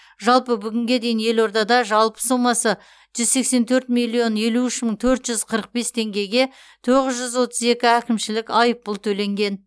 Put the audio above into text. жалпы бүгінге дейін елордада жалпы сомасы жүз сексен төрт миллион елу үш мың төрт жүз қырық бес теңгеге тоғыз жүз отыз екі әкімшілік айыппұл төленген